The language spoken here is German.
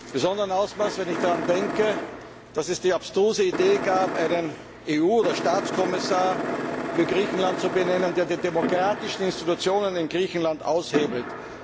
Besonders wenn ich daran denke, dass es die abstruse Idee gab, einen EU oder Staatskommissar für Griechenland zu benennen, der die demokratischen Institutionen in Griechenland aushebelt.